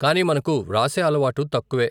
కాని మనకు వ్రాసే అలవాటు తక్కువే.